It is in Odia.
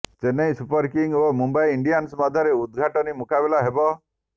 ଚେନ୍ନାଇ ସୁପର କିଙ୍ଗ୍ ଓ ମୁମ୍ବାଇ ଇଣ୍ଡିଆନ୍ସ ମଧ୍ୟରେ ଉଦଘାଟନୀ ମୁକାବିଲା ହେବ